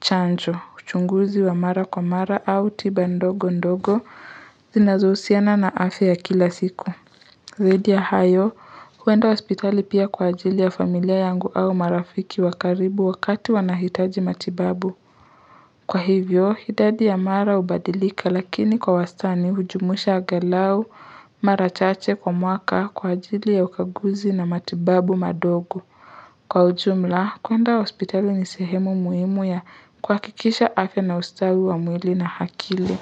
chanjo. Uchunguzi wa mara kwa mara au tiba ndogo ndogo. Zinazohusiana na afya kila siku. Zaidi ya hayo, huenda hospitali pia kwa ajili ya familia yangu au marafiki wa karibu wakati wanahitaji matibabu. Kwa hivyo, hidadi ya mara ubadilika lakini kwa wastani hujumuisha agalau mara chache kwa mwaka kwa ajili ya ukaguzi na matibabu madogo. Kwa ujumla, kwenda hospitali ni sehemu muhimu ya kuhakikisha afya na ustawi wa mwili na hakili.